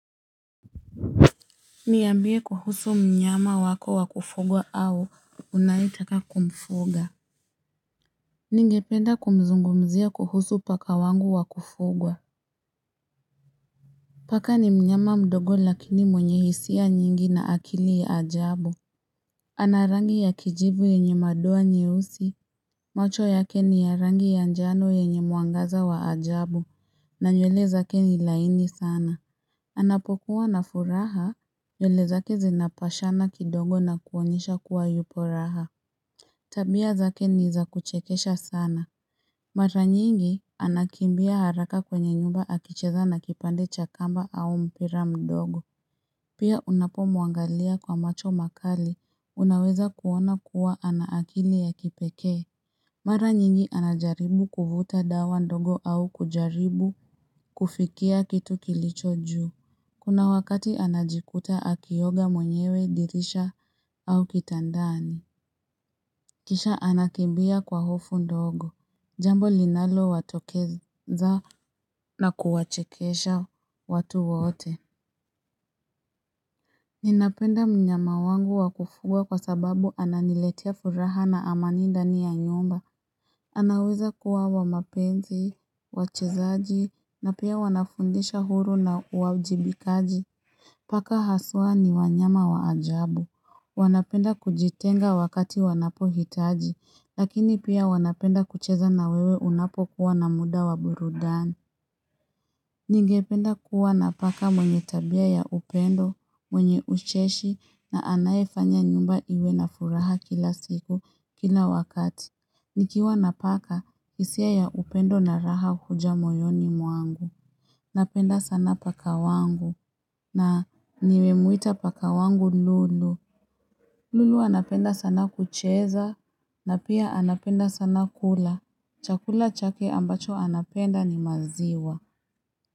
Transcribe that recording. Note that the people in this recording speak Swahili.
Niambie kuhusu mnyama wako wa kufugwa au unayetaka kumfuga. Ningependa kumzungumzia kuhusu paka wangu wa kufugwa Paka ni mnyama mdogo lakini mwenye hisia nyingi na akili ya ajabu ana rangi ya kijivu yenye madoa nyeusi macho yake ni ya rangi ya njano yenye mwangaza wa ajabu na nywele zake ni laini sana anapokuwa na furaha nywele zake zinapashana kidogo na kuonyesha kuwa yupo raha. Tabia zake nizakuchekesha sana. Mara nyingi, anakimbia haraka kwenye nyumba akicheza na kipande cha kamba au mpira mdogo. Pia unapomuangalia kwa macho makali, unaweza kuona kuwa ana akili ya kipekee. Mara nyingi anajaribu kuvuta dawa ndogo au kujaribu kufikia kitu kilicho juu. Kuna wakati anajikuta akioga mwenyewe dirisha au kitandani Kisha anakimbia kwa hofu ndogo, jambo linalo watokeza na kuwachekesha watu wote Ninapenda mnyama wangu wa kufuga kwa sababu ananiletea furaha na amani ndani ya nyumba anaweza kuwa wa mapenzi, wa uchezaji, na pia wanafundisha huru na uajibikaji Paka haswa ni wanyama wa ajabu. Wanapenda kujitenga wakati wanapo hitaji, lakini pia wanapenda kucheza na wewe unapo kuwa na muda wa burudani. Ningependa kuwa napaka mwenye tabia ya upendo, mwenye ucheshi na anayefanya nyumba iwe na furaha kila siku, kila wakati. Nikiwa na paka, hisia ya upendo na raha huja moyoni mwangu. Napenda sana paka wangu. Na nimemuita paka wangu Lulu. Lulu anapenda sana kucheza. Na pia anapenda sana kula. Chakula chake ambacho anapenda ni maziwa.